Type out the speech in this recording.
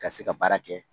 Ka se ka baara kɛ